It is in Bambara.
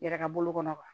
Yɛrɛ ka bolo kɔnɔ